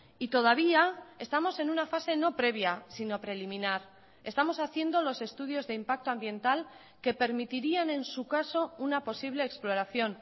y todavía estamos en una fase no previa sino preliminar estamos haciendo los estudios de impacto ambiental que permitirían en su caso una posible exploración